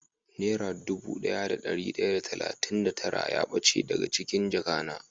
Nera dubu daya da dari daya da talatin da tara ya bace dago cikin jaka na.